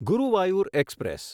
Guruvayur express